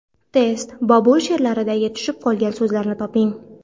Test: Bobur she’rlaridagi tushib qolgan so‘zlarni toping.